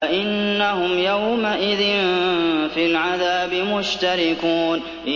فَإِنَّهُمْ يَوْمَئِذٍ فِي الْعَذَابِ مُشْتَرِكُونَ